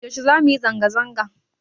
Yaushe za mu yi zanga-zanga?